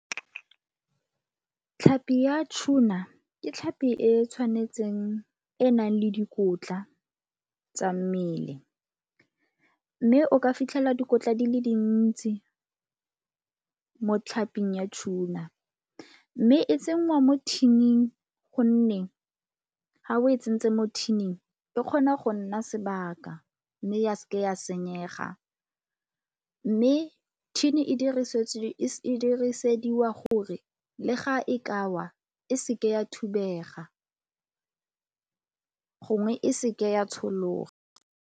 Tlhapi ya tuna ke tlhapi e tshwanetseng e e nang le dikotla tsa mmele mme o ka fitlhela dikotla di le dintsi mo tlhaping ya tuna. Mme e tsenngwa mo tin-ing gonne ga o e tsentse mo tin-ing e kgona go nna sebaka mme ya se ke ya senyega. Mme tin-e e dirisediwa gore le ga e ka wa e seke ya thubega gongwe e seke ya tshologa.